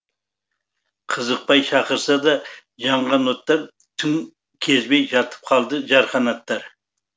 қызықпай шақырса да жанған оттар түн кезбей жатып қалды жарқанаттар